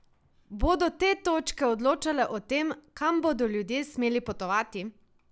Bodo te točke odločale o tem, kam bodo ljudje smeli potovati?